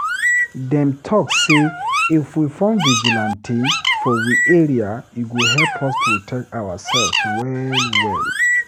Dem talk say if we form vigilante for we area, e go help us protect ourselves well well.